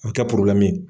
A bɛ kɛ